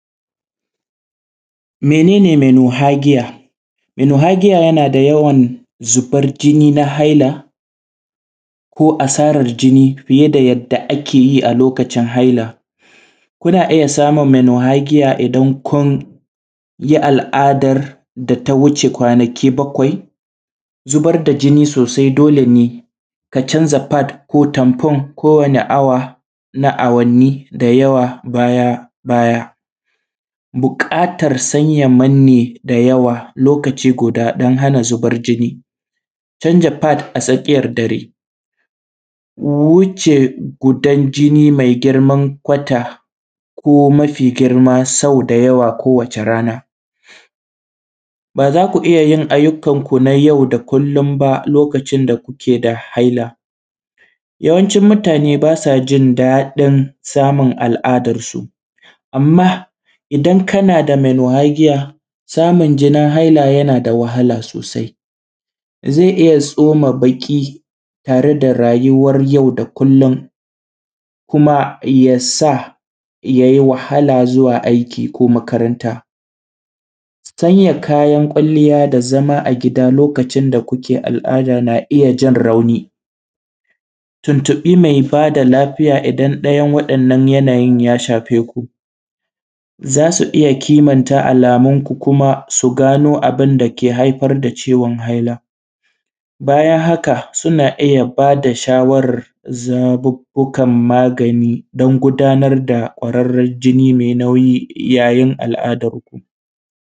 Menen mono hagiya? Mono hagiya yana da yawan zubar jini na haila ko asarar jini fiye da yadda ake yi a lokacin haila, kuna iya samun mono hagiya idan kun yi al’adar da ta wuce kwanaki bakwai, zubar da jini sosai dole ne ka canza fat ko ɗin ku kowami awa na awanni da yawa baya, baya buƙatar sanya manye da yawa lokaci guda in har ana zubar jinni. Canjin fad a tsakiyan dare ko wuce gudan jini mai girman kwata ko mafi girma, sau da yawa ko wace rana ba za ku iya yin ayyukan ku yau da kullum ba lokacin da kuke da haila, yawancin mutane ba sa jin daɗin samun al’adarsu amma idan kana da mono haigiya samun jinin haila yana da wahala sosai. Ze iya tsoma baƙi tare rayuwan yau da kullum kuma ya sa ya yi wahala zuwa aiki ko kuma makaranta, canza kayan kwaliyya da zama a gida lokacin da kuke al’ada yana iya jan rauni tuntubi me ba da lafiya idan ɗayan yanayin ya same ku, za su iya kimanta alamunku kuma su gano abun dake haifar da ciwon haila. Bayan haka suna iya bada shawarar zabubbukan magani dan gudanar da kwararren jini mai nauyi yayin al’adarku.